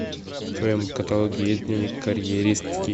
в твоем каталоге есть дневник карьеристки